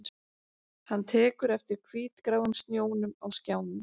Hann tekur eftir hvítgráum snjónum á skjánum